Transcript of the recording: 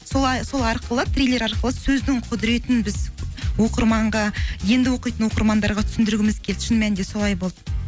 солай сол арқылы трейлер арқылы сөздің құдіретін біз оқырманға енді оқитын оқырмандарға түсіндіргіміз келді шын мәнінде солай болды